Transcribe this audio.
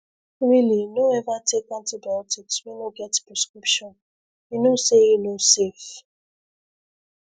really no ever take antibiotics wey no get prescription you know say e no safe